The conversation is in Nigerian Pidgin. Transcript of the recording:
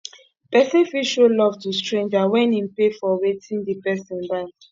persin fit show love to stranger when im pay for wetin di person buy